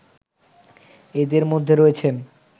এদের মধ্যে রয়েছেন